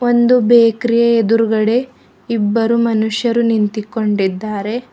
ಒಂದು ಬೇಕರಿಯ ಎದುರುಗಡೆ ಇಬ್ಬರು ಮನುಷ್ಯರನ್ನು ನಿಂತುಕೊಂಡಿದ್ದಾರೆ.